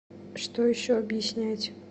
что еще объяснять